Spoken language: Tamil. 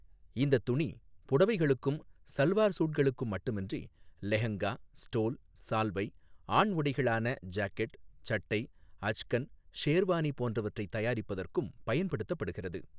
இந்தத் துணி, புடவைகளுக்கும் சல்வார் சூட்களுக்கும் மட்டுமின்றி, லெஹெங்கா, ஸ்டோல், சால்வை, ஆண் உடைகளான ஜாக்கெட், சட்டை, அச்கன், ஷேர்வானி போன்றவற்றைத் தயாரிப்பதற்கும் பயன்படுத்தப்படுகிறது.